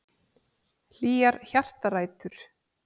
Hlýjar hjartarætur.